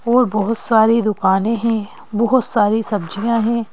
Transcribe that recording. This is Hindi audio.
और बहुत सारी दुकानें हैं बहुत सारी सब्जियां है।